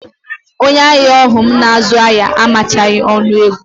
Onye ahịa ahụ m na-azụ ahịa amachaghị ọgụ ego